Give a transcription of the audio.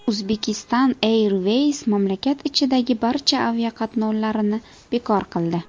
Uzbekistan Airways mamlakat ichidagi barcha aviaqatnovlarni bekor qildi .